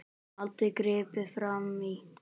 Aldrei gripið frammí.